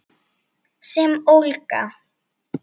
Sem ólga.